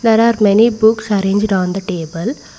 There are many books arranged on the table.